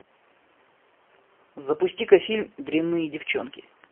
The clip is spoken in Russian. запусти ка фильм дрянные девчонки